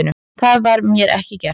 Það var mér ekki gert